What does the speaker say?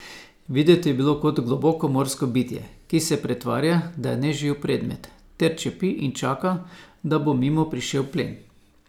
Videti je bil kot globokomorsko bitje, ki se pretvarja, da je neživ predmet, ter čepi in čaka, da bo mimo prišel plen.